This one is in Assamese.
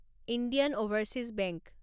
Indian overseas bank